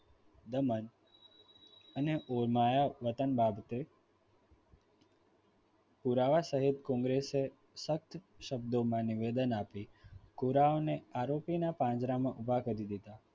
તેમજ અને માયાવતન બાબતે પુરાવા સહિત congres સખત શબ્દોમાં નિવેદન આપી ગોળાઓને આરોપીના પાંજરામાં ઊભા કરી દીધા.